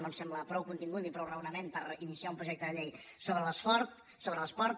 no ens sembla prou contingut ni prou raonament per iniciar un projecte de llei sobre l’esport